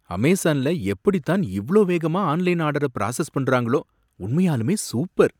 அமேசான்ல எப்படித்தான் இவ்ளோ வேகமா ஆன்லைன் ஆர்டர பிராசஸ் பண்றாங்களோ! உண்மையாலுமே சூப்பர்!